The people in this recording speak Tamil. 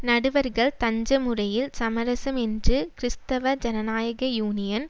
நடுவர்கள் தஞ்சமுறையில் சமரசம் என்று கிறிஸ்தவ ஜனநாயக யூனியன்